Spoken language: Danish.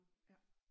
Ja